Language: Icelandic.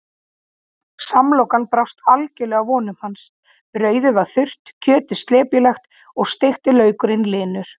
Samlokan brást algjörlega vonum hans, brauðið var þurrt, kjötið slepjulegt og steikti laukurinn linur.